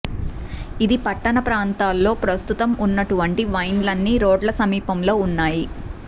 ఇది పట్టణ ప్రాంతాల్లో ప్రస్తుతం ఉన్నటువంటి వైన్స్లన్నీ రోడ్ల సమీపంలో ఉన్నాయి